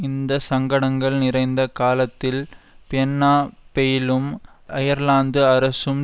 இந்த சங்கடங்கள் நிறைந்த காலத்தில் பென்னா பெயிலும் அயர்லாந்து அரசும்